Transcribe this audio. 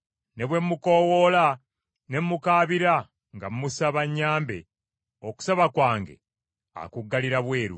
Ne bwe mukoowoola ne mukaabira nga mmusaba anyambe, okusaba kwange akuggalira bweru.